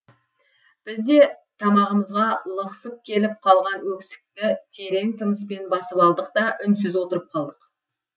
біз де тамағымызға лықсып келіп қалған өксікті терең тыныспен басып алдық та үнсіз отырып қалдық